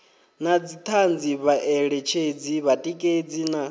na dzithanzi vhaeletshedzi vhatikedzi na